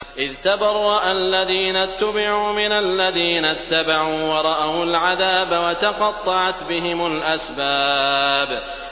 إِذْ تَبَرَّأَ الَّذِينَ اتُّبِعُوا مِنَ الَّذِينَ اتَّبَعُوا وَرَأَوُا الْعَذَابَ وَتَقَطَّعَتْ بِهِمُ الْأَسْبَابُ